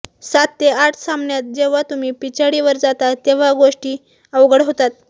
सात ते आठ सामन्यात जेव्हा तुम्ही पिछाडीवर जाता तेव्हा गोष्टी अवघड होतात